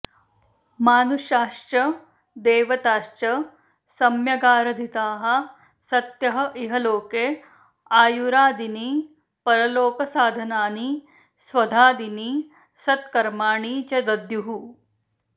मानुषाश्च देवताश्च सम्यगाराधिताः सत्यः इह लोके आयुरादीनि परलोकसाधनानि स्वधादीनि सत्कर्माणि च दद्युः